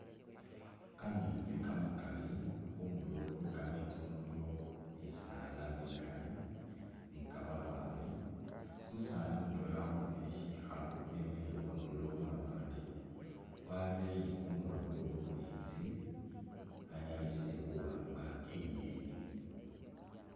Kameetsi kamakaali, khundulo khwe kameesti ukhuno khulikho bisaala bikaali ne kamabaale, umusaani mutwela ukhupile sikhaalu wemikhile khundulo khumabaale, wareye kumuloobo mumeetsi anyalise khuwamba inyeni.